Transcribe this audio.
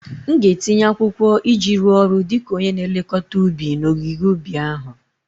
M ga-etinye akwụkwọ iji rụọ ọrụ dị ka onye na-elekọta ubi n'ogige ubi ahụ